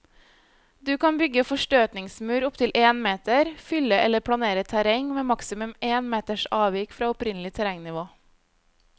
Du kan bygge forstøtningsmur opptil én meter, fylle eller planere terreng med maksimum én meters avvik fra opprinnelig terrengnivå.